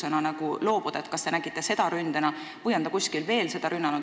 On nad seda kuskil veel rünnanud?